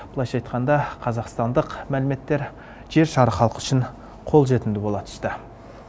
былайша айтқанда қазақстандық мәліметтер жер шары халқы үшін қолжетімді бола түсті